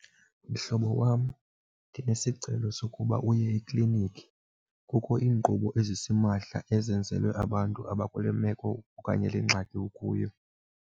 Mhlobo wam, ndinesicelo sokuba uye eklinikhi. Kukho iinkqubo ezisimahla ezenzelwe abantu abakule meko okanye le ngxaki ukuyo.